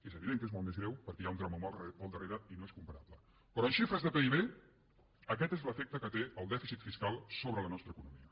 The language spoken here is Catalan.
és evident que és molt més greu perquè hi ha un drama humà al darrere i no és comparable però en xifres de pib aquest és l’efecte que té el dèficit fiscal sobre la nostra economia